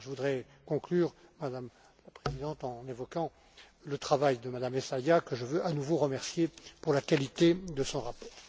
euro. Je voudrais conclure, Madame la Présidente, en évoquant le travail de Mme Essayah que je veux à nouveau remercier pour la qualité de son rapport.